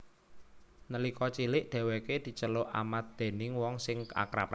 Nalika cilik dhèwèké diceluk Amat déning wong sing akrab